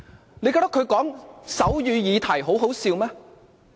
他們覺得他談論手語議題很可笑嗎？